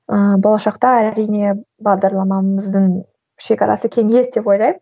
ыыы болашақта әрине бағдарламамыздың шегарасы кеңейеді деп ойлаймын